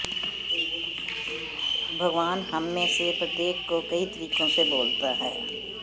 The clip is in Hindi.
भगवान हममें से प्रत्येक को कई तरीकों से बोलता है